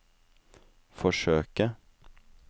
forsøke